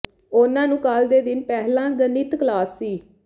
ਉਨ੍ਹਾਂ ਨੂੰ ਕੱਲ੍ਹ ਦੇ ਦਿਨ ਪਹਿਲਾਂ ਗਣਿਤ ਕਲਾਸ ਸੀ